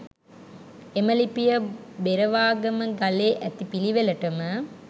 එම ලිපිය, බෙරවාගම ගලේ ඇතිපිළිවෙළටම